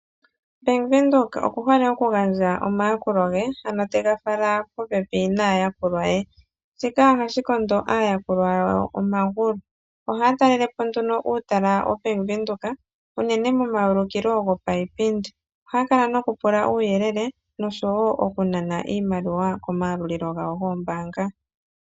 Bank Windhoek oku hole oku gandja omayakulo ge, ano te ga fala popepi naayakulwa ye. Shika oha shi kondo aayakulwa yawo omagulu. Oha ya talelepo nduno uutala woBank Windhoek unene momayulukilo go payipindi. Oha ya kala noku pula uuyelele nosho wo oku nana iimaliwa komayalulilo gawo goombaanga.